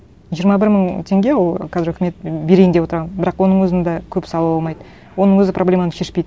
жиырма бір мың теңге ол қазір үкімет берейін деп отырған бірақ оның өзін де көп сала алмайды оның өзі проблеманы шешпейді